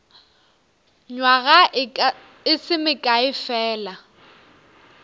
nywaga e se mekae fela